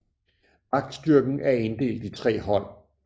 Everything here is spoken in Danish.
Vagtstyrken er inddelt i tre hold